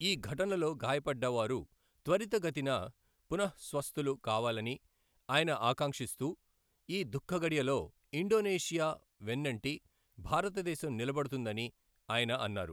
ఈ ఘటనలో గాయపడ్డ వారు త్వరిత గతిన పునఃస్వస్థులు కావాలని ఆయన ఆకాంక్షిస్తూ, ఈ దుఃఖ ఘడియలో ఇండొనేషియా వెన్నంటి భారతదేశం నిలబడుతుందని ఆయన అన్నారు.